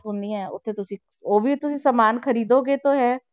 ਹੁੰਦੀਆਂ ਉੱਥੇ ਤੁਸੀਂ ਉਹ ਵੀ ਤੁਸੀਂ ਸਮਾਨ ਖ਼ਰੀਦੋਗੇ ਤਾਂ ਹੈ।